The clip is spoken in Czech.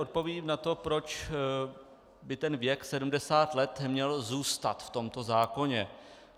Odpovím na to, proč by ten věk 70 let měl zůstat v tomto zákoně.